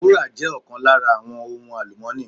Wúrà jé ọ̀kan lára àwọn ohun àlùmọ́ọ́nì